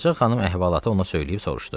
Ağacə xanım əhvalatı ona söyləyib soruşdu: